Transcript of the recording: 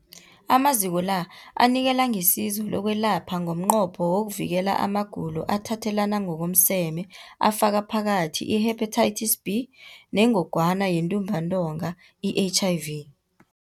Amaziko la anikela ngesizo lokwelapha ngomnqopho wokuvikela amagulo athathelana ngokomseme afaka phakathi i-Hepatitis B neNgogwana yeNtumbantonga, i-HIV.